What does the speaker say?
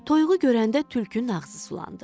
Toyuğu görəndə tülkünün ağzı sulandı.